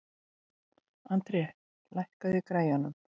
André, lækkaðu í græjunum.